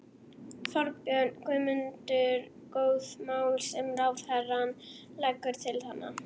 Þorbjörn: Guðmundur, góð mál sem ráðherrann leggur til þarna?